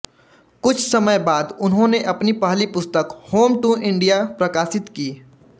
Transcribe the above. कुछ समय बाद उन्होंने अपनी पहली पुस्तक होम टू इंडिया प्रकाशित की